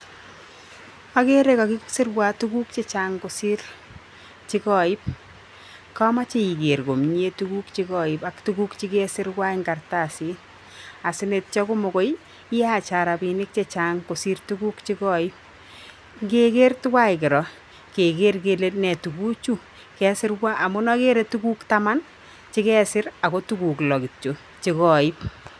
Agerei kakisirwa tuguk chechang kosir chekoib. Kamachei iger komie tuguk chekoib ak tuguk chekesirwo eng kartsit. Asinetyo komagoi iyacha robinik chechang kosir tuguk chekoib. Ngeger tuwai kiro keger kele nee tuguchu kesirwa amuun agerei tuguk taman ako tuguk loo kityo chekoib.